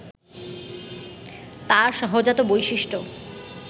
তার সহজাত বৈশিষ্ট্য